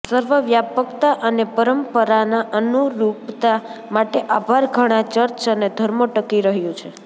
સર્વવ્યાપકતા અને પરંપરાના અનુરૂપતા માટે આભાર ઘણા ચર્ચ અને ધર્મો ટકી રહ્યું છે